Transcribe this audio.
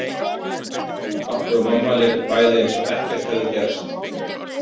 Pabbi og mamma létu bæði eins og ekkert hefði gerst.